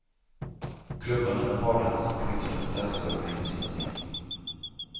Klubbarna där pardansen på nytt har tagit dansgolven i besittning.